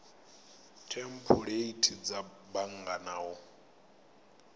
thempuleithi dza bannga na u